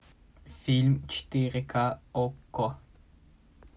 фильм четыре ка окко